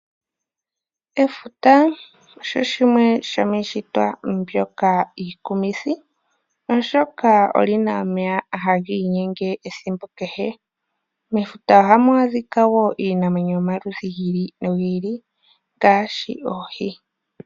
Efuta osho shimwe shomiishitwa mbyoka iikumithi, oshoka olina omeya haga inyenge ethimbo kehe. Mefuta ohamu adhika wo iinamwenyo giili nogiili ngaashi oohi.